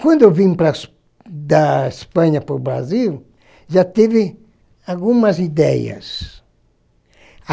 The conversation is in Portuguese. Quando eu vim para da Espanha para o Brasil, já tive algumas ideias.